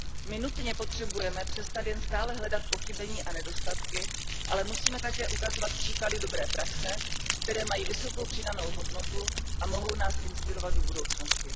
My nutně potřebujeme přestat jen stále hledat pochybení a nedostatky, ale musíme také ukazovat příklady dobré praxe, které mají vysokou přidanou hodnotu a mohou nás inspirovat do budoucnosti.